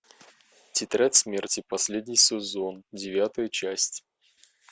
тетрадь смерти последний сезон девятая часть